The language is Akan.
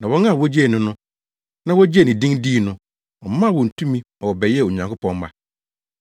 Na wɔn a wogyee no, na wogyee ne din dii no, ɔmaa wɔn tumi ma wɔbɛyɛɛ Onyankopɔn mma